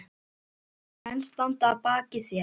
Tveir menn standa að baki þér.